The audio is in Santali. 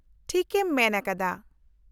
-ᱴᱷᱤᱠ ᱮᱢ ᱢᱮᱱ ᱟᱠᱟᱫᱟ !